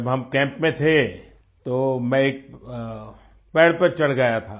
जब हम कैम्प में थे तो मैं एक पेड़ पर चढ़ गया था